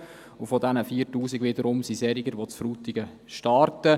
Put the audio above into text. Unter diesen 4000 wiederum hat es solche, die in Frutigen starten.